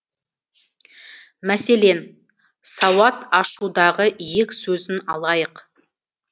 мәселен сауат ашудағы иек сөзін алайық